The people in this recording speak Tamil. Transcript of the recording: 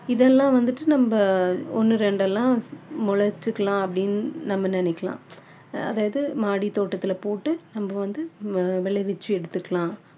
இதெல்லாம் வந்துட்டு நம்ம ஒண்ணு ரெண்டு எல்லாம் முளைச்சுக்கலாம் அப்படின்னு நம்ம நினைக்கலாம் அதாவது மாடி தோடத்துல போட்டு நம்ம வந்து விளைவிச்சி எடுத்துக்கலாம்